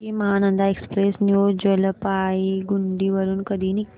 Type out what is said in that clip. Sikkim Mahananda express new Jalpaiguri वरून कधी निघते